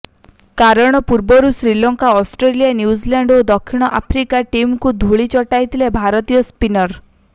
କାରଣ ପୂର୍ବରୁ Sri Lanka Australia New Zealand ଓ ଦକ୍ଷିଣ ଆଫ୍ରିକା ଟିମକୁ ଧୂଳି ଚଟାଇଥିଲେ ଭାରତୀୟ ସ୍ପିନର